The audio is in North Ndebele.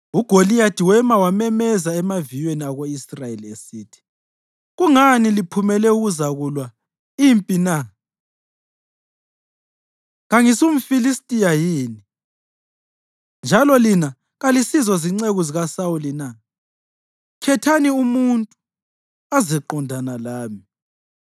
UGoliyathi wema wamemezela emaviyweni ako-Israyeli esithi, “Kungani liphumele ukuzakulwa impi na? KangisumFilistiya yini, njalo lina kalisizo zinceku zikaSawuli na? Khethani umuntu azeqondana lami.